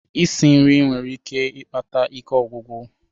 Isi nri nwere ike ikpata ike ogwugwu.